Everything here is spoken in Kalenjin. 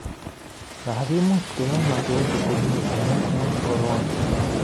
Makiimuch keyai masoesi komye amuu Korona